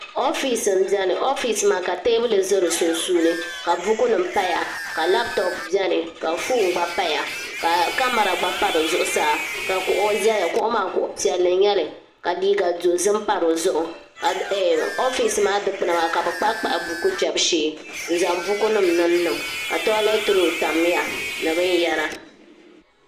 oofis n biɛni oofis maa ka teebuli nim ʒɛ di sunsuuni ka buku nim paya ka labtop biɛni ka foon gba paya ka kamɛra gba pa di zuɣusaa ka kuɣu ʒɛya kuɣu maa kuɣu piɛlli n nyɛli ka liiga dozim pa dizuɣu ka oofis maa dikpuna maa ka bi kpahi kpahi buku nim kpɛbu shee n zaŋ buku nim niŋ niŋ ka tooilɛt rool tamya ni bin yɛra